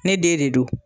Ne den de don